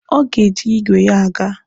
Ọ ga-eji igwe ya aga.